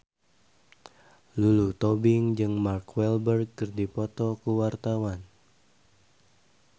Lulu Tobing jeung Mark Walberg keur dipoto ku wartawan